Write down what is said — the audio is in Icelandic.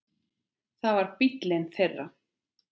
Það var bíllinn þeirra.